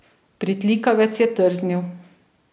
Pritlikavec je trznil.